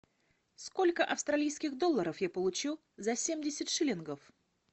сколько австралийских долларов я получу за семьдесят шиллингов